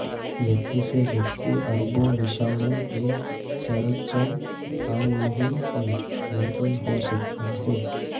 व्यक्ति से व्यक्ति अरबो विशाणु के संचरण आम नहीं है लेकिन हो सकता है